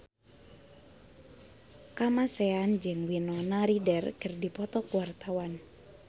Kamasean jeung Winona Ryder keur dipoto ku wartawan